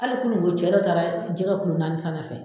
Hali kununko cɛ dɔ taara jɛgɛ kulo naani sanna n fɛ.